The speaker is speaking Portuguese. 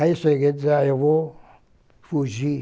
Aí eu cheguei a dizer, ah, eu vou fugir.